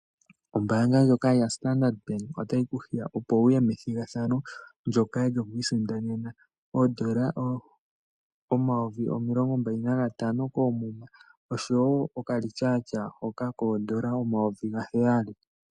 Ombaanga ndjoka yaStandard Bank otayi ku hiya opo wu ye methigathanao lyoku isindanena oshimaliwa shoondola omayovi omilongo mbali nagatano koomuma osho wo ethimbo lyokongodhi lyongushu yoondola omayovi gaheyali.